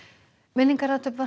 minningarathöfn var